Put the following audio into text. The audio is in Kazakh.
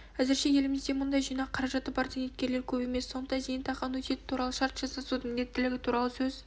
әзірше елімізде мұндай жинақ қаражаты бар зейнеткерлер көп емес сондықтан зейнетақы аннуитеті туралы шарт жасасудың міндеттілігі туралы сөз